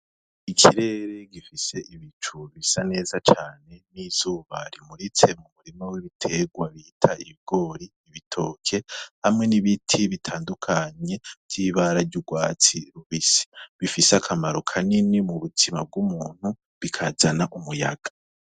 Ikirere gifise ibicu bisa neza cane n'izuba rimuritse mu murima w'ibiterwa bit'ibigori, ibitoke hamwe n'ibiti bitandukanye vy'ibara ry'urwatsi rubisi bifis'akamaro kanini birakana umuyaga.